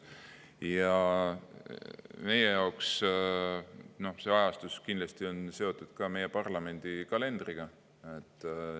Ja meie jaoks see ajastus kindlasti on olnud seotud ka meie parlamendi kalendriga.